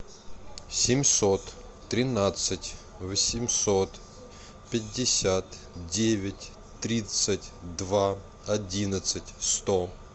семьсот тринадцать восемьсот пятьдесят девять тридцать два одиннадцать сто